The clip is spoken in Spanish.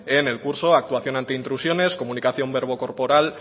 en el curso actuación antiintrusiones comunicación verbo corporal